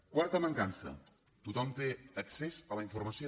quarta mancança tothom té accés a la informació